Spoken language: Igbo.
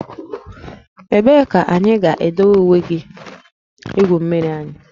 Ebee ka anyị ga-edowe uwe igwu mmiri anyị?